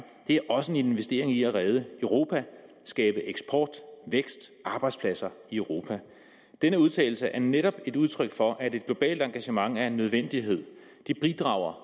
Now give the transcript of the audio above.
det er også en investering i at redde europa skabe eksport vækst arbejdspladser i europa denne udtalelse er netop et udtryk for at et globalt engagement er en nødvendighed det bidrager